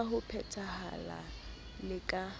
ka ho phethahala le ka